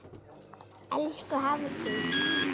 Elsku Hafdís.